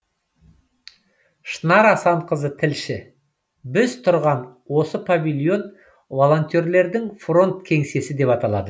шынар асанқызы тілші біз тұрған осы павильон волонтерлердің фронт кеңсесі деп аталады